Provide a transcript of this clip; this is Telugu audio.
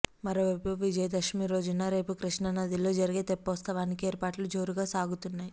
మరోవైపు విజయదశమి రోజున రేపు కృష్ణానదిలో జరిగే తెప్పోత్సవానికి ఏర్పాట్లు జోరుగా సాగుతున్నాయి